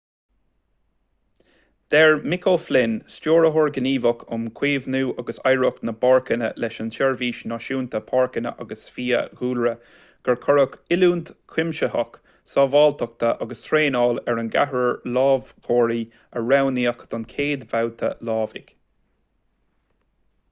deir mick o'flynn stiúrthóir gníomhach um chaomhnú agus oidhreacht na bpáirceanna leis an tseirbhís náisiúnta páirceanna agus fiadhúlra gur cuireadh oiliúint chuimsitheach sábháilteachta agus traenála ar an gceathrar lámhachóirí a roghnaíodh don chéad bhabhta lámhaigh